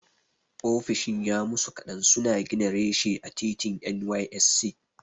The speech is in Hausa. Ofishin ya musu kaɗan suna gina reshe a titin NYSC.